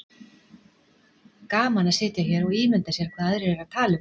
Gaman að sitja hér og ímynda sér hvað aðrir eru að tala um